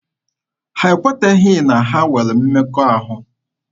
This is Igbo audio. Ha ekweteghị na ha nwere mmekọahụ.